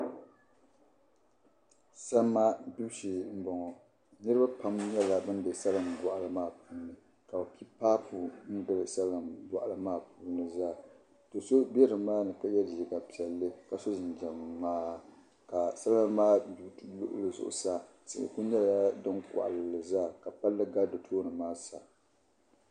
Salima gbibu shee n boŋo niraba pam nyɛla bin bɛ salin boɣali maa puuni ka bi pi paapu n gili salin boɣali maa puuni zaa do so bɛ nimaani ka yɛ liiga piɛlli ka so jinjɛm ŋmaa ka salima maa gbibu duli zuɣusaa tihi ku nyɛla din koɣali li zaa ka palli gari di tooni maa sa